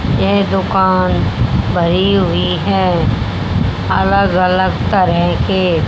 यह दुकान भरी हुई है अलग अलग तरह के--